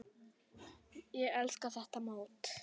Ég elska þetta mót.